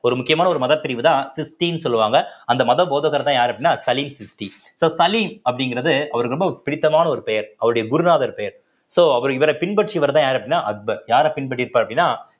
ஒரு முக்கியமான ஒரு மதப்பிரிவுதான் சிஷ்டின்னு சொல்லுவாங்க அந்த மத போதகர்தான் யாரு அப்படின்னா சலீம் சிஷ்டி so சலீம் அப்படிங்கறது அவருக்கு ரொம்ப பிடித்தமான ஒரு பெயர் அவருடைய குருநாதர் பெயர் so அவர் இவரைப் பின்பற்றியவர்தான் யாரு அப்படின்னா அக்பர் யாரு பின்பற்றிருப்பார் அப்படின்னா